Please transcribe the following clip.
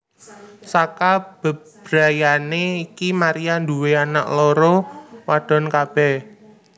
Saka bebrayané iki Maria nduwé anak loro wadon kabèh